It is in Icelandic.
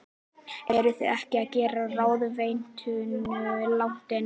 Eruð þið ekki að gefa ráðuneytinu langt nef?